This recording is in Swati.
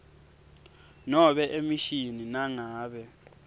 nobe emishini nangabe